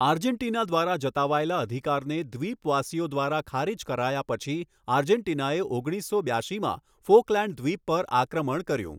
Argentina દ્વારા જતાવાયેલા અધિકારને દ્વીપવાસીઓ દ્વારા ખારિજ કરાયા પછી આર્જેન્ટીના એ ઓગણીસો બ્યાશીમાં ફૉકલેંડ દ્વીપ પર આક્રમણ કર્યું.